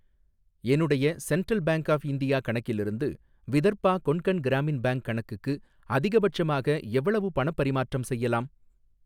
என்னுடைய central bank of India கணக்கிலிருந்து Vidarbha Konkan Gramin bank கணக்குக்கு அதிகபட்சமாக எவ்வளவு பணப் பரிமாற்றம் செய்யலாம்?